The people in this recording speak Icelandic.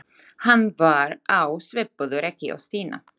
Hann var á svipuðu reki og Stína.